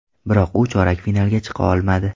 Biroq u chorak finalga chiqa olmadi.